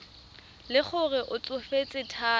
le gore o tsofetse thata